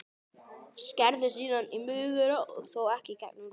Skerðu síðan í miðju þeirra, þó ekki í gegnum roðið.